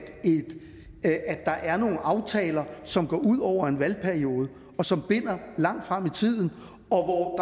der er nogle aftaler som går ud over en valgperiode og som binder langt frem i tiden og hvor